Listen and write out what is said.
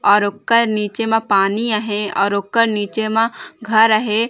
और ओकर निचे मा पानी हे और ओकर निचे मा घर हे ।--